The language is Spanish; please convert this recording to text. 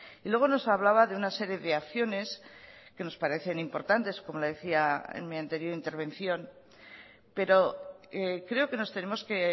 y luego nos hablaba de una serie de acciones que nos parecen importantes como le decía en mi anterior intervención pero creo que nos tenemos que